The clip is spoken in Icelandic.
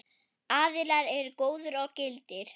Aðilar eru góðir og gildir.